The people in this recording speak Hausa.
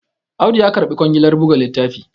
Audu ya karbi kwangilar buga littafi